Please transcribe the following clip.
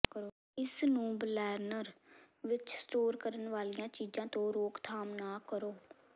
ਇਸ ਨੂੰ ਬਲੈਨਰ ਵਿਚ ਸਟੋਰ ਕਰਨ ਵਾਲੀਆਂ ਚੀਜ਼ਾਂ ਤੋਂ ਰੋਕਥਾਮ ਨਾ ਕਰੋ